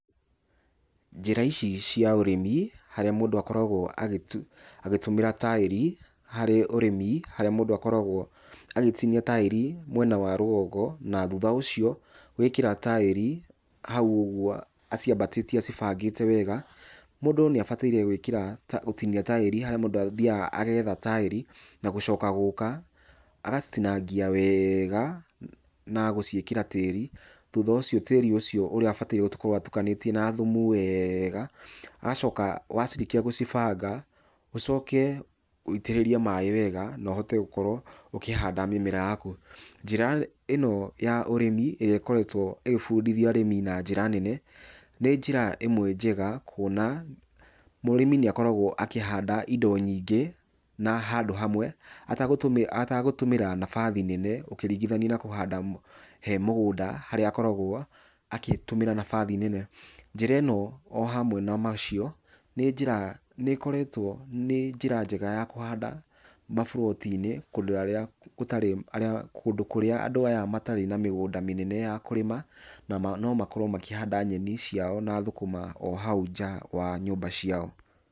Njĩra ici cia ũrĩmi harĩa mũndũ akoragwo agĩtũmĩra taĩri harĩ ũrĩmi, harĩa mũndũ akoragwo agĩtinia taĩri mwena wa rũgongo, na thutha ũcio gwĩkĩra taĩri hau ũguo aciambatĩtie acĩbangĩte wega, mũndũ nĩ abataire gwĩkĩra, gũtinia taĩri harĩa mũndũ athiaga agetha taĩri, na gũcoka gũka agacitinangia wega na gũciĩkĩra tĩri, thũtha ũcio tĩri ũcio ũrĩa abataire gũkorwo atukanĩtie na thumu wega, agacoka wacirĩkĩa gũcibanga, ũcoke witĩrĩrie maaĩ wega na ũhote gũkorwo ũkĩhanda mĩmera yaku. Njĩra ĩno ya ũrĩmi ĩrĩa ĩkoretwo ĩgĩbũndĩthĩa arĩmi na njĩra nene, nĩ njĩra ĩmwe njega kuona mũrĩmi nĩ akoragwo akĩhanda indo nyingĩ handũ hamwe atagũtũmĩra mabathi nene, ũkĩringithanio na kũhanda he mũgũnda harĩa akoragwo akĩtũmĩra nabathi nene. Njĩra ĩno o hamwe na macio nĩ njĩra, nĩ ĩkoretwo, nĩ njĩra njega ya kũhanda maburoti-inĩ kũndũ kũrĩa andũ aya matarĩ na mĩgũnda mĩnene ya kũrĩma, na no makorwo makĩhanda nyeni ciao na thũkũma o hau nja wa nyũmba ciao.